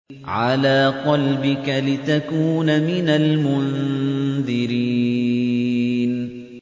عَلَىٰ قَلْبِكَ لِتَكُونَ مِنَ الْمُنذِرِينَ